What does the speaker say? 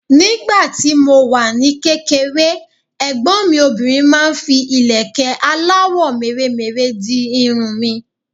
Nígbà tí mo wà ní kékeré, ẹ̀gbọ́n mi obìnrin máa ń fi ìlẹ̀kẹ́ aláwọ̀ mèremère di irun mi.